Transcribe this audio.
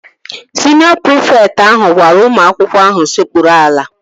Siniọ prịfekt ahụ gwara ụmụ akwụkwọ ahụ sekpuru ala